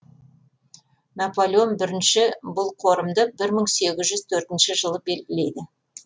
наполеон бірінші бұл қорымды бір мың сеіз жүз төртінші жылы белгілейді